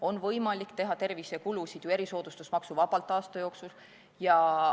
On ju võimalik teha tervisekulutusi erisoodustusmaksuvabalt aasta jooksul.